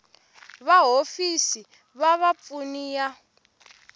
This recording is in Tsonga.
va hofisi va vapfuni ya